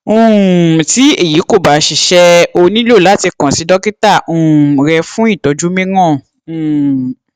um tí èyí kò bá ṣiṣẹ o ní láti kàn sí dókítà um rẹ fún ìtọjú mìíràn um